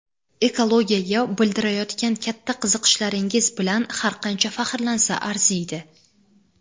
ekologiyaga bildirayotgan katta qiziqishlaringiz bilan har qancha faxrlansa arziydi!.